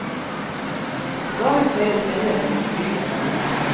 Dagen feires senere med familie og venner.